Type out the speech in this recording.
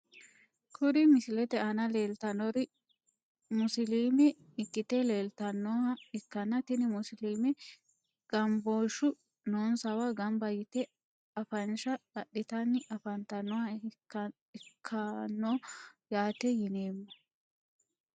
Kuri misilete aana leeltanori musiliime ikite leeltanoha ikkana tini musuluume ganbooshu noonsawa ganba yite afanshsha adhitani afantanoha ikkanno yaate yineemo.